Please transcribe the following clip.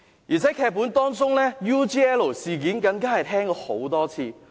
而且在多個劇本當中 ，UGL 事件更已聽了很多次。